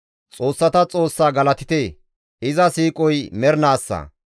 Xoossata Xoossa galatite! iza siiqoy mernaassa.